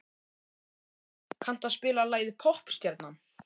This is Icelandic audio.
Eldey, kanntu að spila lagið „Poppstjarnan“?